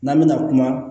N'an bɛna kuma